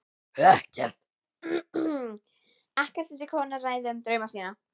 Ekkert vildi konan ræða um drauma sína.